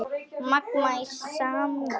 Magma í samruna